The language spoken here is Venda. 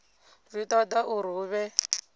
zwi toda uri hu vhe